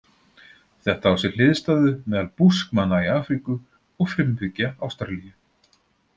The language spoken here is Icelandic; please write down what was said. Þetta á sér hliðstæðu meðal Búskmanna í Afríku og frumbyggja Ástralíu.